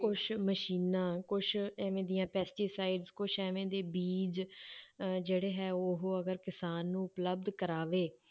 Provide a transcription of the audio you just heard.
ਕੁਛ ਮਸ਼ੀਨਾਂ ਕੁਛ ਇਵੇਂ ਦੀਆਂ pesticides ਕੁਛ ਐਵੇਂ ਦੇ ਬੀਜ਼ ਅਹ ਜਿਹੜੇ ਹੈ ਉਹ ਅਗਰ ਕਿਸਾਨ ਨੂੰ ਉਪਲਬਧ ਕਰਾਵੇ,